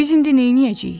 Biz indi neyniyəcəyik?